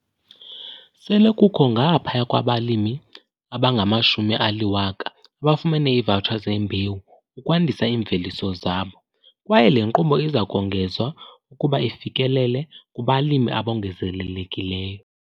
Sele kukho ngaphaya kwabalimi abangama-10 000 abafumene iivawutsha zeembewu ukwandisa iimveliso zabo kwaye le nkqubo iza kongezwa ukuba ifikelele kubalimi abongezelelekileyo.